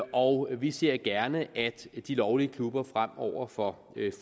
og vi ser gerne at de lovlige klubber fremover får